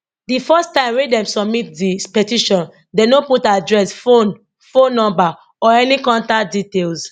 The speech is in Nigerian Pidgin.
di first time wey dem submit di petition dem no put address phone phone no or any contact details